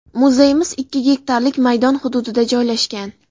Muzeyimiz ikki gektarlik maydon hududida joylashgan.